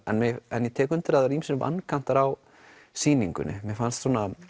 ég tek undir það eru ýmsir vankantar á sýningunni mér fannst